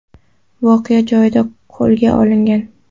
voqea joyida qo‘lga olingan.